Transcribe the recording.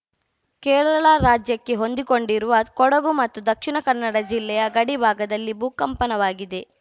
ಕೇರಳ ರಾಜ್ಯಕ್ಕೆ ಹೊಂದಿಕೊಂಡಿರುವ ಕೊಡಗು ಮತ್ತು ದಕ್ಷಿಣ ಕನ್ನಡ ಜಿಲ್ಲೆಯ ಗಡಿ ಭಾಗದಲ್ಲಿ ಭೂಕಂಪನವಾಗಿದೆ